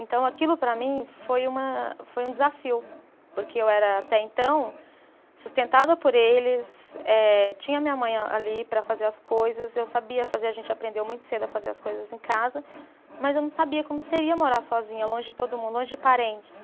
Então, aquilo para mim foi uma, foi um desafio, porque eu era até então sustentada por eles, eh tinha minha mãe ali para fazer as coisas, eu sabia fazer, a gente aprendeu muito cedo a fazer as coisas em casa, mas eu não sabia como seria morar sozinha, longe de todo mundo, longe de parentes.